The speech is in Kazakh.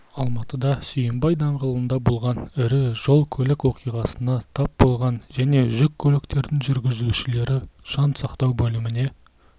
алматыда сүйінбай даңғылында болған ірі жол-көлік оқиғасына тап болған және жүк көліктерінің жүргізушілері жан сақтау бөліміне